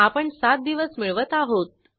आपण सात दिवस मिळवत आहोत